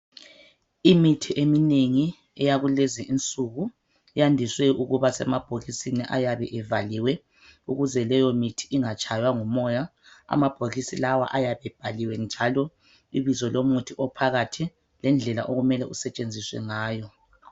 Imithi eminengi eyakulezi insuku, yandiswe ukuba semabhokisini ayabe evaliwe. Ukuze leyo mithi ingatshaywa ngumoya ,amabhokisi lawa ayabe ebhaliwe njalo ibizo lomuthi ophakathi lendlela okumele usetshenziswe ngayo.